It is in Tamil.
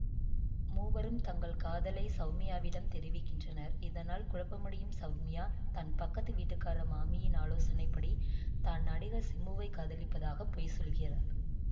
மூவரும் தங்கள் காதலை சௌமியாவிடம் தெரிவிக்கின்றனர் இதனால் குழப்பமடையும் சௌமியா தன் பக்கத்து வீட்டுக்கார மாமியின் ஆலோசனை படி தான் நடிகர் சிம்புவை காதலிப்பதாக பொய் சொல்கிறார்